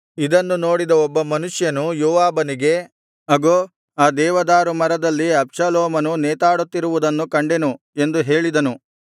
ಇದನ್ನು ನೋಡಿದ ಒಬ್ಬ ಮನುಷ್ಯನು ಯೋವಾಬನಿಗೆ ಅಗೋ ಆ ದೇವದಾರು ಮರದಲ್ಲಿ ಅಬ್ಷಾಲೋಮನು ನೇತಾಡುತ್ತಿರುವುದನ್ನು ಕಂಡೆನು ಎಂದು ಹೇಳಿದನು